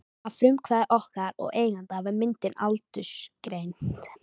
Að frumkvæði okkar og eigenda var myndin aldursgreind.